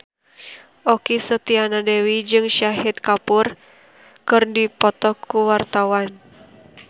Okky Setiana Dewi jeung Shahid Kapoor keur dipoto ku wartawan